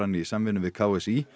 í samvinnu við k s í